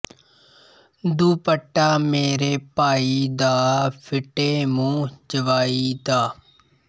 ਦੁਪੱਟਾ ਮੇਰੇ ਭਾਈ ਦਾ ਫਿੱਟੇ ਮੂੰਹ ਜਵਾਈ ਦਾ